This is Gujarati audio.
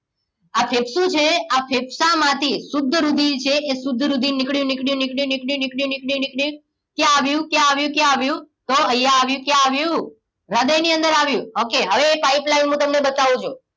આ ફેફસુ છે આ ફેફસામાંથી શુદ્ધ રુધિર છે એ શુદ્ધ રુધિર નીકળ્યું નીકળ્યું નીકળ્યું નીકળ્યું નીકળ્યું ક્યાં આવ્યું? ક્યાં આવ્યું ક્યાં આવ્યું? તો અહીંયા આવ્યું ક્યાં આવ્યું હૃદય ની અંદર આવ્યું okay હવે એ pipeline હું તમને બતાવું છું